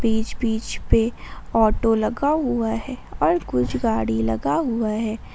बीच बीच पे ऑटो लगा हुआ है और कुछ गाड़ी लगा हुआ है।